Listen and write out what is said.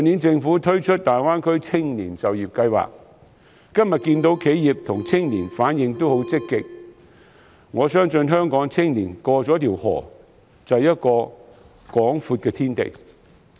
政府去年推行大灣區青年就業計劃，今天可看到企業和青年的反應都很積極，我相信香港青年在過河之後當可看到一個廣闊的天地。